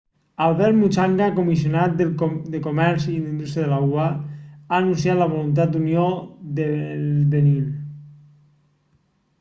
albert muchanga comissionat de comerç i indústria de la ua ha anunciat la voluntat d'unió del benín